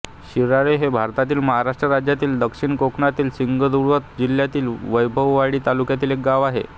शिराळे हे भारतातील महाराष्ट्र राज्यातील दक्षिण कोकणातील सिंधुदुर्ग जिल्ह्यातील वैभववाडी तालुक्यातील एक गाव आहे